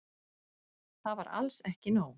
Það var alls ekki nóg.